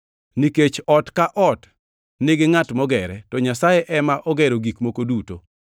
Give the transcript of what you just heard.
Nikech ot ka ot nigi ngʼat mogere, to Nyasaye ema ogero gik moko duto.